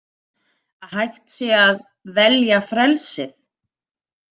Að hægt sé að „velja frelsið“.